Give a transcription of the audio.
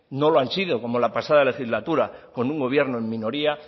no lo han sido como la pasada legislatura con un gobierno en minoría